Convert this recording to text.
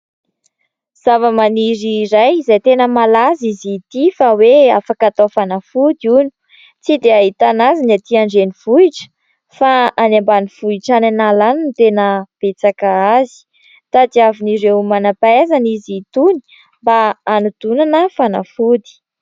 Zavamaniry iray izay tena malaza izy ity fa hoe afaka atao fanafody hono ; tsy dia ahitana azy ny aty andrenivohitra fa any ambanivohitra any an'ala any no tena betsaka azy. Tadiavin'ireo manam-pahaizana izy itony, mba hanodinana fanafody.